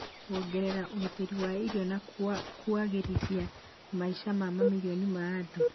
kuongerera ũgitĩri wa irio, na kuagĩrithia maica ma mamirioni ma andũ